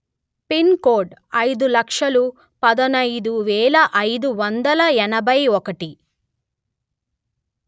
pin code అయిదు లక్షలు పదునయిదు వేల అయిదు వందలు ఎనభై ఒకటి